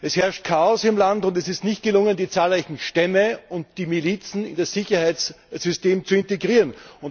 Es herrscht Chaos im Land, und es ist nicht gelungen, die zahlreichen Stämme und die Milizen in das Sicherheitssystem zu integrieren.